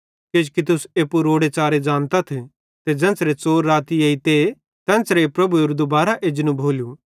किजोकि तुस एप्पू रोड़े च़ारे ज़ानतथ ते ज़ेन्च़रे च़ोर राती एइते तेन्च़रे प्रभुएरू दुबारां एजनू भोलू